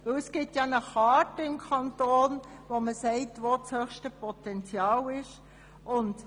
Eine Karte zeigt, wo das grösste Potenzial besteht.